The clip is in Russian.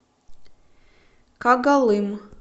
когалым